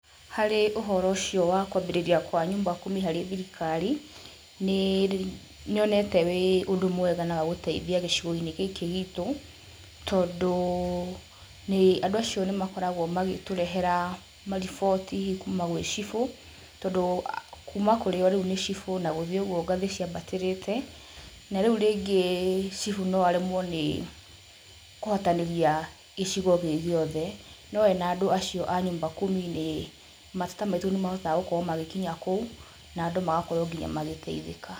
Harĩ ũhoro ũcio wa kũambĩrĩria kwa nyumba kumi harĩ thirikari, nĩnyonete ũrĩ ũndũ mwega na wa gũteithia gĩcigo-inĩ gĩkĩ gitũ, tondũ andũ acio nĩmakoragwo magĩtũrehera mariboti kuma gwĩ cibũ, tondũ kuma kũrĩ o rĩu nĩ cibũ na gũthiĩ ũguo ngathĩ ciambatĩrĩte na rĩu rĩngĩ cibũ no aremwo nĩ kũhotanĩria gĩcigo gĩ giothe, no arĩ na andũ acio a nyumba kumi mateta maitũ nimahotaga gũkorwo magĩkinya kũu na andũ magakorwo nginya magĩteithĩka.